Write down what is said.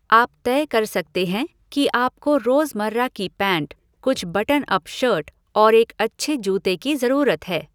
आप तय कर सकते हैं कि आपको रोज़मर्रा की पैंट, कुछ बटन अप शर्ट और एक अच्छे जूते की ज़रूरत है।